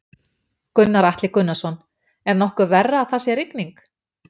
Gunnar Atli Gunnarsson: Er nokkuð verra að það sé rigning?